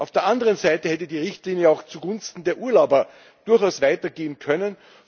Auf der anderen Seite hätte die Richtlinie auch zugunsten der Urlauber durchaus weiter gehen können.